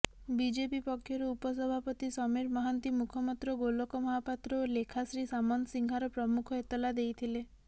BJP ପକ୍ଷରୁ ଉପସଭାପତି ସମୀର ମହାନ୍ତି ମୁଖପାତ୍ର ଗୋଲକ ମହାପାତ୍ର ଓ ଲେଖାଶ୍ରୀ ସାମନ୍ତସିଂହାର ପ୍ରମୁଖ ଏତଲା ଦେଇଥିଲେ